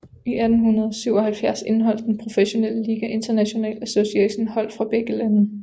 I 1877 indeholdt den professionelle liga International Association hold fra begge lande